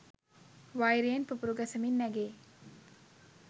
වෛරයෙන් පුපුරු ගසමින් නැගෙයි